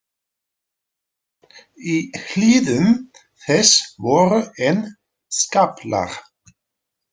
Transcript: Í hlíðum þess voru enn skaflar.